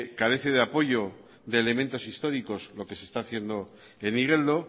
carece de apoyo de elementos históricos lo que se está haciendo en igeldo